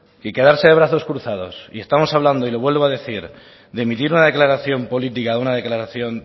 que quedarse de brazos cruzados y estamos hablando y lo vuelvo a decir de emitir una declaración política de una declaración